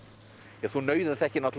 þú nauðaþekkir náttúrulega